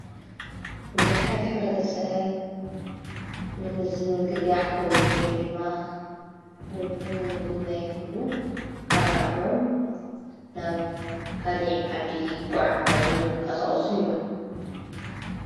ብዙኃት ኅረተ ሰብ ንምዝንግጋዕ ዉሉ ወይ ድማ ንምጉናይክሉ ካብ ዓዶም ናብ ካሊዕ ዓዲ ይጐዓ ዓዙን ይንቀሠዖስን እዮም።